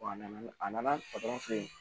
A nana a nana filɛ